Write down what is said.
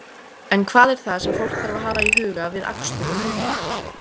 En hvað er það sem fólk þarf að hafa í huga við akstur um helgina?